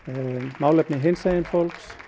málefni hinsegin fólks